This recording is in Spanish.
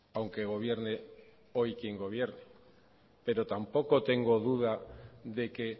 aunque gobierne hoy quien gobierne pero tampoco tengo duda de que